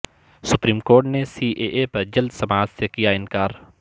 supreme court نے C A A پر جلد سماعت سے کیا انکار